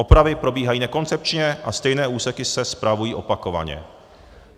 Opravy probíhají nekoncepčně a stejné úseky se spravují opakovaně.